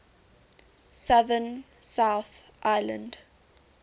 southern south island